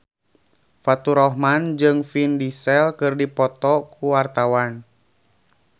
Faturrahman jeung Vin Diesel keur dipoto ku wartawan